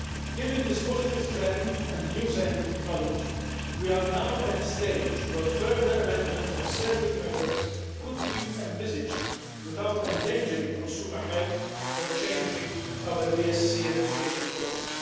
Given this positive trend and new scientific knowledge, we are now at the stage where further amendments of certain measures could be envisaged without endangering consumer health or changing our BSE eradication policy.